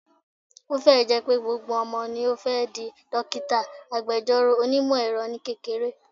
Ó fẹ́ ẹ̀ jẹ́ pé gbogbo ọmọ ló fẹ́ di, dókítà, agbẹjọ́rò, onímọ̀ - ẹ̀rọ ní kékeré